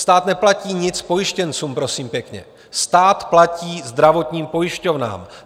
Stát neplatí nic pojištěncům, prosím pěkně, stát platí zdravotním pojišťovnám.